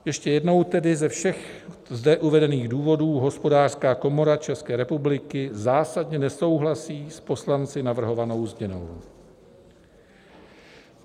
Ještě jednou tedy ze všech zde uvedených důvodů Hospodářská komora České republiky zásadně nesouhlasí s poslanci navrhovanou změnou."